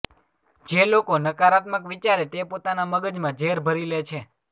જે લોકો નકારાત્મક વિચારે તે પોતાના મગજમાં ઝેર ભરી લે છે